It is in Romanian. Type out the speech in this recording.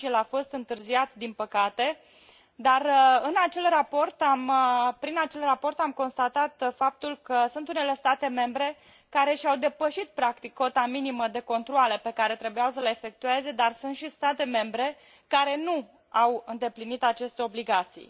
atunci, el a fost întârziat, din păcate, dar prin acel raport am constatat faptul că sunt unele state membre care și au depășit practic cota minimă de controale pe care trebuiau să le efectueze, dar sunt și state membre care nu au îndeplinit aceste obligații.